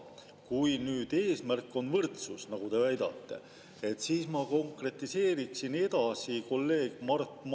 Vastupidi, selle eelnõu eesmärk on anda võrdsed võimalused ja võrdne kohtlemine, ilma diskrimineerimata, kõikidele täisealistele Eesti inimestele, et nad saaksid riigi kaitse kooselus, mida nimetatakse abieluks.